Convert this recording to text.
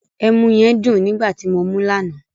Ẹmu yẹn dùn nígbà ti mo mú lánàá.